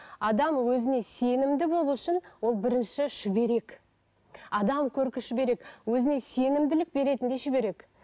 адам өзіне сенімді болу үшін ол бірінші шүберек адам көркі шүберек өзіне сенімділік беретін де шүберек